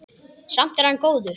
Samt er hann góður.